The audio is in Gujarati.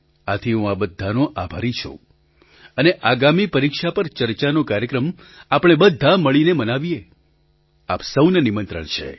આથી હું આ બધાંનો આભારી છું અને આગામી પરીક્ષા પર ચર્ચાનો કાર્યક્રમ આપણે બધાં મળીને મનાવીએ આપ સહુને નિમંત્રણ છે